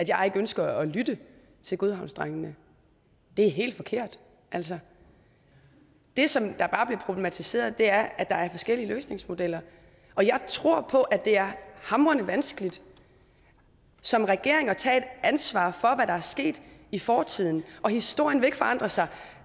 jeg ikke ønsker at lytte til godhavnsdrengene det er helt forkert altså det som der bare bliver problematiseret er at der er forskellige løsningsmodeller og jeg tror på at det er hamrende vanskeligt som regering at tage et ansvar for hvad der er sket i fortiden historien vil ikke forandre sig